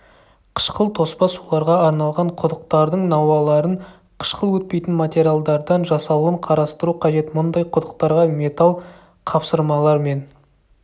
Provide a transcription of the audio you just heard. қышқыл тоспа суларға арналған құдықтардың науаларын қышқыл өтпейтін материалдардан жасалуын қарастыру қажет мұндай құдықтарға металл қапсырмалар мен